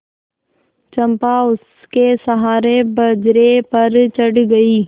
चंपा उसके सहारे बजरे पर चढ़ गई